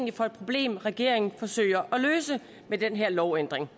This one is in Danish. er for et problem regeringen forsøger at løse med den her lovændring